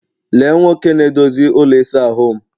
Lee Nwoke na-edozi ụlọ ịsa ahụ'm